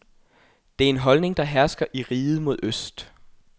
Det er en holdning, der hersker i riget mod øst.